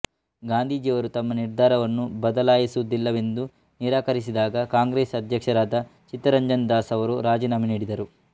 ಗಾಂಧಿಜಿಯವರು ತಮ್ಮ ನಿರ್ಧಾರವನ್ನು ಬದಲಾಯಿಸುವುದಿಲ್ಲವೆಂದು ನಿರಾಕರಿಸಿದಾಗ ಕಾಂಗ್ರೆಸ್ ಅದ್ಯಕ್ಷರಾದ ಚಿತ್ತರಂಜನ್ ದಾಸ್ ಅವರು ರಾಜಿನಾಮೆ ನೀಡಿದರು